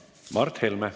Mart Helme.